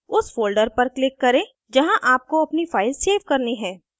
उस folder पर click करें जहाँ आपको अपनी file सेव करनी है